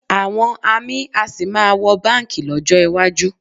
Àwọn amí a sì máa wọ báǹkì lọ́jọ́ iwájú